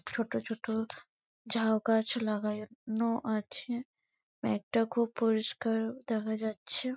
ছোট ছোট ঝাউ গাছ লাগানো আছে ব্যাগটা খুব পরিষ্কার দেখা যাচ্ছে।